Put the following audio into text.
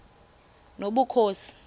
nobukhosi